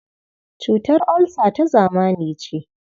Cutar olsa ta zamani ce.